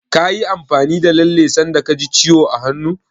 Kayi amfani da lalle sanda ka ji ciwo a hannu?